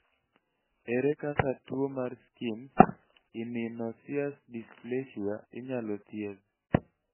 ere kaka tuwo mar schimke immunoosseous dysplasia inyalo thiedh?